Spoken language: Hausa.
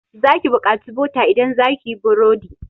Za ki bukaci bota idan zaki yi burodi.